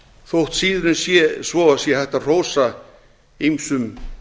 þótt síður en svo sé hægt að hrósa ýmsum